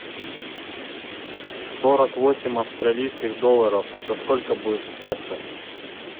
сорок восемь австралийских долларов это сколько будет в песо